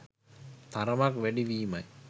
තරමක් වැඩි වීමයි.